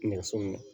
Nɛgɛso